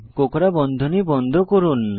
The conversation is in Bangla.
কোঁকড়া বন্ধনী বন্ধ করুন